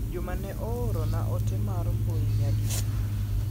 Juma ne ooro na ote mar mbui nyadi di.